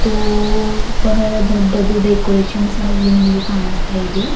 ಮತ್ತು ಬಹಳ ದೊಡ್ಡದು ಡೆಕೋರೇಷನ್ ಸಹ ಇಲ್ಲಿ ನಮಗೆ ಕಾಣಸ್ತಾ ಇದೆ.